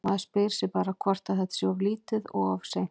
Maður spyr sig bara hvort að þetta sé of lítið og of seint?